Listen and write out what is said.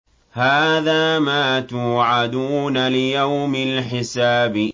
هَٰذَا مَا تُوعَدُونَ لِيَوْمِ الْحِسَابِ